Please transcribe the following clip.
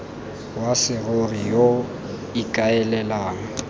wa serori yo o ikaelelang